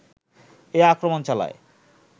এ আক্রমণ চালায়